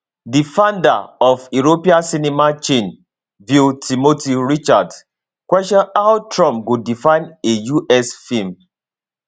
di founder of european cinema chain vue timothy richards question how trump go define a us film